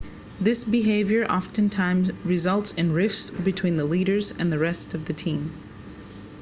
this behavior oftentimes results in rifts between the leaders and the rest of the team